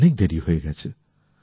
অনেক দেরি হয়ে গেছে